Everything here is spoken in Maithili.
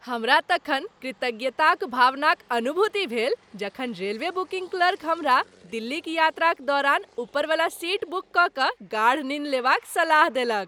हमरा तखन कृतज्ञताक भावनाक अनुभूति भेल जखन रेलवे बुकिंग क्लर्क हमरा दिल्लीक यात्राक दौड़ान ऊपरवला सीट बुक कय कऽ गाढ़ निन्न लेबाक सलाह देलक।